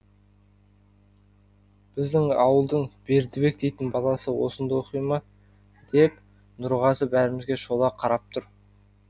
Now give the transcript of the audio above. біздің ауылдың бердібек дейтін баласы осында оқи ма деп нұрғазы бәрімізге шола қарап тұр